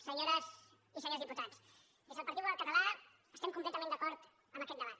senyores i senyors diputats des del partit popular català estem completament d’acord amb aquest debat